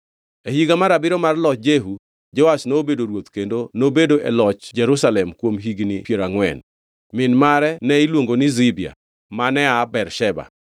E higa mar abiriyo mar loch Jehu, Joash nobedo ruoth kendo nobedo e loch Jerusalem kuom higni piero angʼwen. Min mare ne iluongo ni Zibia; mane aa Bersheba.